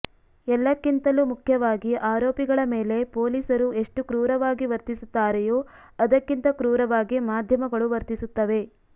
ಎಲ್ಲಕ್ಕಿಂತಲೂ ಮುಖ್ಯವಾಗಿ ಆರೋಪಿಗಳ ಮೇಲೆ ಪೊಲೀಸರು ಎಷ್ಟು ಕ್ರೂರವಾಗಿ ವರ್ತಿಸುತ್ತಾರೆಯೋ ಅದಕ್ಕಿಂತ ಕ್ರೂರವಾಗಿ ಮಾಧ್ಯಮಗಳು ವರ್ತಿಸುತ್ತವೆ